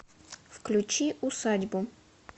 включи усадьбу